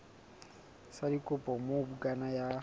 sa dikopo moo bukana ya